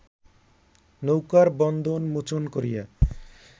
নৌকার বন্ধন মোচন করিয়া